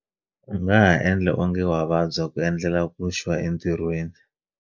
U nga ha endla onge wa vabya ku endlela ku xwa entirhweni